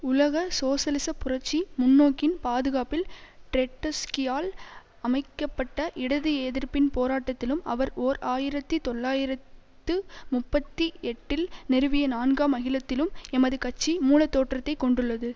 உலக சோசலிச புரட்சி முன்னோக்கின் பாதுகாப்பில் ட்ரெட்ஸ்கியால் அமைக்க பட்ட இடது எதிர்ப்பின் போராட்டத்திலும் அவர் ஓர் ஆயிரத்தி தொள்ளாயிரத்து முப்பத்தி எட்டில் நிறுவிய நான்காம் அகிலத்திலும் எமது கட்சி மூலத்தோற்றத்தை கொண்டுள்ளது